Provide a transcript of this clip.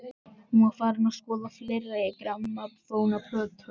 Hún var farin að skoða fleiri grammófónplötur.